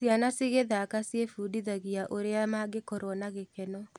Ciana cigĩthaka ciĩbundithagia ũrĩa mangĩkorwo na gĩkeno.